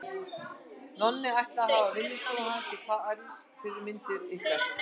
Nonni ætlið að hafa vinnustofu hans í París fyrir myndir ykkar.